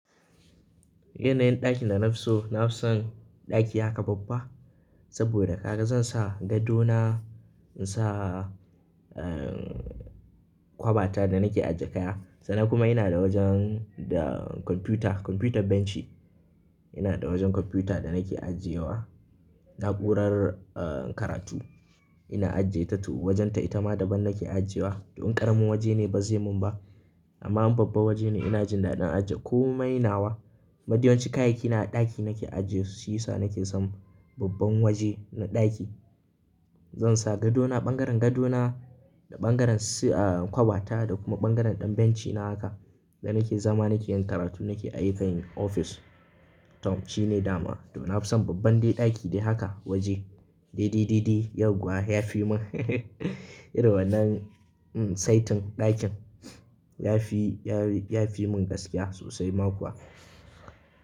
Yana yin ɗakin da na fi so, na fi son ɗaki haka babba. Saboda kaga zan sa gado na, in sa, eh, kwabata da nake ajiye kaya. Sannan kuma ina da wajen da kwamfuta, kwamfutar benci. Ina da wajen kwamfuta da nake ajiye wa na'urar, eh, karatu. Ina ajiye ta to wajenta, ita ma daban nake ajiyewa. Dun ƙaramin waje ne, ba zai mun ba. Amma babba waje ne ina jin daɗin ajiye ko mai nawa. Mafi yawanci kayayyaki na a ɗaki nake ajiye su, shi yasa nake son babban waje na ɗaki. Zan sa gadona, ɓangaren gadona da ɓangaren si, eh, kwabata da kuma ɓangaren ɗan bencina haka. Da nake zama nake yin karatu nake ayyukan ofis. Toh shine dama. To na fi son babban dai ɗaki dai haka waje. Dai, dai, dai, dai yauwa ya fi mun irin wannan, um, saitin ɗakin. Ya fi, ya fi mun gaskiya sosai ma kuwa.